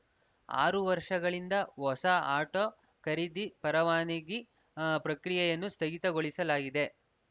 ಆರು ವರ್ಷಗಳಿಂದ ಹೊಸ ಆಟೋ ಖರೀದಿ ಪರವಾನಗಿ ಪ್ರಕ್ರಿಯೆನ್ನು ಸ್ಥಗಿತಗೊಳಿಸಲಾಗಿದೆ